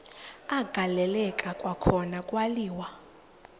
agaleleka kwakhona kwaliwa